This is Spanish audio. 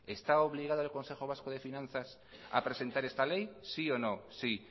está obligado el consejo vasco de finanzas a presentar esta ley sí o no sí